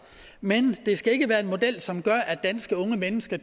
men det skal ikke være en model som gør at danske unge mennesker